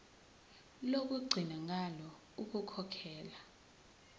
lokugcina ngalo ukukhokhela